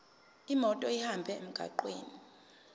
imoto ihambe emgwaqweni